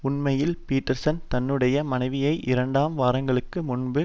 உண்மையில் பீட்டர்சன் தன்னுடைய மனைவியை இரண்டு வாரங்களுக்கு முன்பு